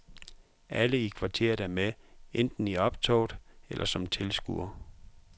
Alle i kvarteret er med, enten i optoget eller som tilskuere.